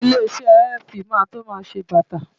Ilé-iṣẹ́ LV máa tó máa ṣe bàtà.